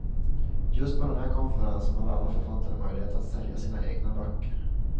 Just på den här konferensen har alla författare möjlighet att sälja sina egna böcker.